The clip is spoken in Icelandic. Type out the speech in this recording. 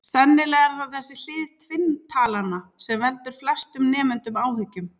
Sennilega er það þessi hlið tvinntalnanna sem veldur flestum nemendum áhyggjum.